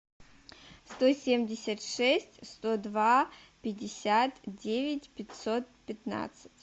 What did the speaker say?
сто семьдесят шесть сто два пятьдесят девять пятьсот пятнадцать